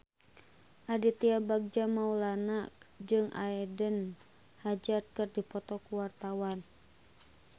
Aditya Bagja Mulyana jeung Eden Hazard keur dipoto ku wartawan